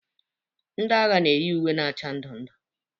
Ndị agha na-eyi uwe na acha ndụ ndụ.